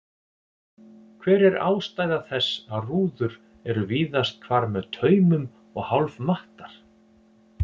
Hver er ástæða þess að rúður eru víðast hvar með taumum og hálf mattar?